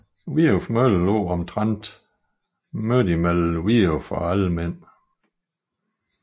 Viuf Mølle lå omtrent midt mellem Viuf og Almind